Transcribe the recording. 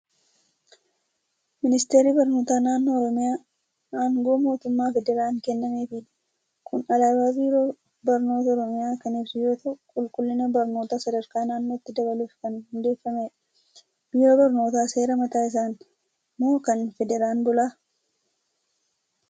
Ministeerri barnoota naannoo Oromiyaa, aangoo mootummaa federaan kennameefiidha. Kun Alaabaa Biiroo Barnoota Oromiyaa kan ibsu yoo ta'u, qulqullina barnootaa sadarkaa naannootti dabaluuf kan hundeeffamedha. Biiroon barnootaa seera mataa isaan moo kan Federaan bula?